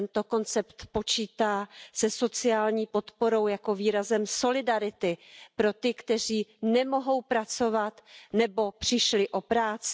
Tento koncept počítá se sociální podporou jako výrazem solidarity pro ty, kteří nemohou pracovat nebo přišli o práci.